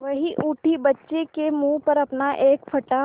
वह उठी बच्चे के मुँह पर अपना एक फटा